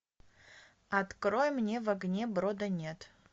открой мне в огне брода нет